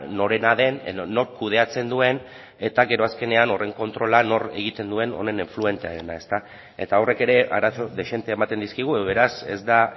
norena den edo nork kudeatzen duen eta gero azkenean honen kontrola nork egiten duen honen afluenteena eta horrek ere arazo dezente ematen dizkigu beraz ez da